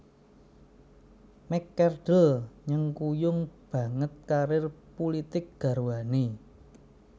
McCardle nyengkuyung banget karir pulitik garwané